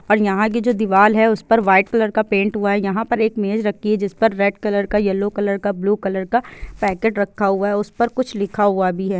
यहाँ की जो दिवाल है उस पर वाइट कलर का पेंट हुआ है यहाँ पर एक मेज रखी है जिस पर रेड कलर का येलो कलर का ब्लू कलर का पैकेट रखा हुआ है और उस पर कुछ लिखा हुआ भी हैं ।